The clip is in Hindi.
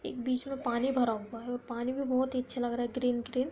एक बीच में पानी भरा हुआ है और पानी में बोहत ही अच्छा लग रहा है ग्रीन ग्रीन |